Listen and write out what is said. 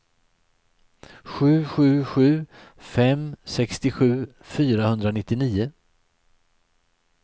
sju sju sju fem sextiosju fyrahundranittionio